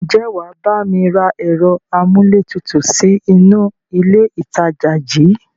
Ǹjẹ́ wàá bá mi rá ẹ̀rọ amúlétutù sì inú ilé ìtajà yìí?